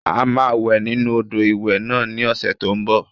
A máa wẹ̀ nínu odò ìwẹ̀ náà ní ọ̀sẹ̀ tó n bọ̀